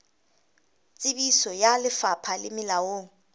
tsebiso ya lefapha le molaong